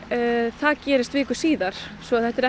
það gerist viku síðar svo þetta er